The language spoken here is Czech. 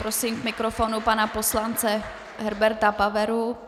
Prosím k mikrofonu pana poslance Herberta Paveru.